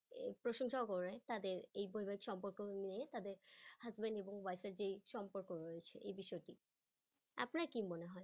প্রশংসাও করে তাদের এই পরিবাহিক সম্পর্ক নিয়ে তাদের husband এবং wife এর যে সম্পর্ক রয়েছে এই বিষয়টি আপনার কি মনে হয়?